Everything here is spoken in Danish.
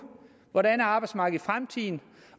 hvordan arbejdsmarkedet fremtiden